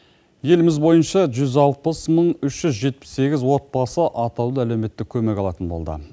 еліміз бойынша жүз алпыс мың үш жүз жетпіс сегіз отбасы атаулы әлеуметтік көмек алатын болды